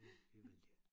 Det det vil de ikke